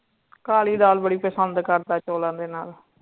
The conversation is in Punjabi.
ਕਾਲੀ ਦਾਲ ਬੜੀ ਪਸੰਦ ਕਰਦਾ ਹੈ ਚੋਲਾ ਦੇ ਨਾਲ